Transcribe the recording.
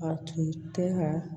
A tun tɛ ka